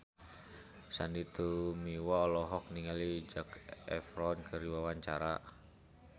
Sandy Tumiwa olohok ningali Zac Efron keur diwawancara